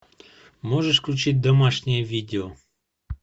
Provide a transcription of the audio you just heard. можешь включить домашнее видео